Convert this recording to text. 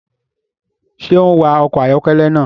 Ṣe o n wa ọkọ ayọkẹlẹ náà?